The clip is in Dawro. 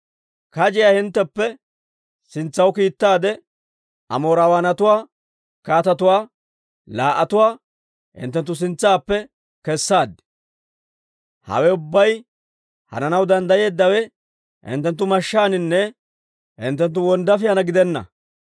Kajiyaa hintteppe sintsaw kiittaade, Amoorawaanatuwaa kaatetuwaa laa"atuwaa hinttenttu sintsaappe kessaad. Hawe ubbay hananaw danddayeeddawe, hinttenttu mashshaaninne hinttenttu wonddaafiyaan gidenna.